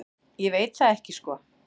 Ég veit það ekki sko.